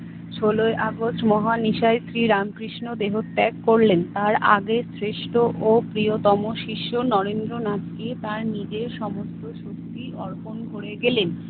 ষোলই August মহান ঈশ্বর রামকৃষ্ণ দেহত্যাগ করলেন। তার আগের শ্রেষ্ঠ ও প্রিয়তম শীর্ষ নরেন্দ্রনাথকে তার নিজের সমস্ত শক্তি অর্পণ করে গেলেন।